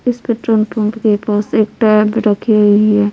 इस petrol pump के पास एक टैब रखी हुई है।